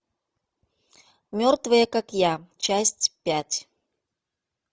мертвые как я часть пять